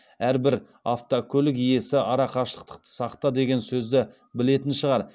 әрбір автокөлік иесі ара қашықтықты сақта деген сөзді білетін шығар